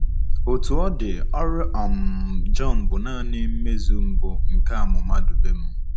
Otú ọ dị, ọrụ um Jọn bụ nanị mmezu mbụ nke amụma Dubem.